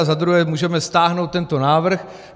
A za druhé můžeme stáhnout tento návrh.